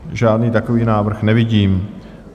Žádný takový návrh nevidím.